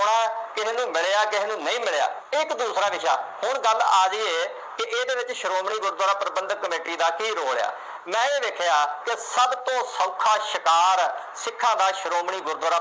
ਕਿਸੇ ਨੂੰ ਮਿਲਿਆ, ਕਿਸੇ ਨੂੰ ਨਹੀਂ ਮਿਲਿਆ, ਇਹ ਇੱਕ ਦੂਸਰਾ ਵਿਸ਼ਾ, ਹੁਣ ਗੱਲ ਆ ਰਹੀ ਹੈ, ਕਿ ਇਹਦੇ ਵਿੱਚ ਸ਼ੋਮਣੀ ਗੁਰਦੁਆਰਾ ਪ੍ਰਬੰਧਕ ਕਮੇਟੀ ਦਾ ਕੀ role ਹੈ। ਮੈਂ ਇਹ ਵੇਖਿਆ ਕਿ ਸਭ ਤੋਂ ਸੌਖਾ ਸ਼ਿਕਾਰ ਸਿੱਖਾਂ ਦਾ ਸ਼੍ਰੋਮਣੀ ਗੁਰਦੁਆਰਾ